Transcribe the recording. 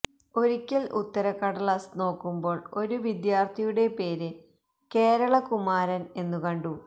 ഒരിക്കല് ഉത്തരക്കടലാസ് നോക്കുമ്പോള് ഒരു വിദ്യാര്ഥിയുടെ പേര് കേരള കുമാരാന് എന്നു കണ്ടു